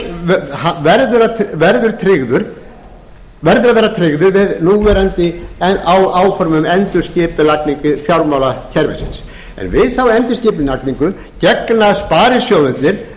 grunnur sparisjóðanna verður að vera tryggður við núverandi áform um endurskipulagningu fjármálakerfisins en við þá endurskipulagningu gegna sparisjóðirnir